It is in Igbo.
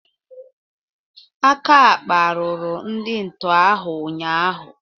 Aka kparuru ndị nto ahụ ụnyaahụ